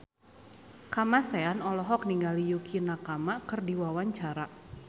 Kamasean olohok ningali Yukie Nakama keur diwawancara